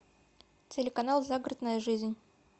телеканал загородная жизнь